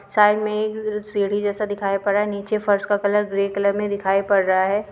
Side में एक सीढ़ी जैसा दिखाई पड़ रहा है नीचे फर्श का कलर ग्रे कलर में दिखाई पड़ रहा है।